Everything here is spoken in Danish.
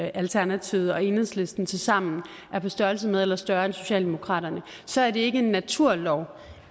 alternativet og enhedslisten tilsammen er på størrelse med eller er større end socialdemokraterne så er det ikke en naturlov